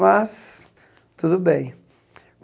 Mas tudo bem.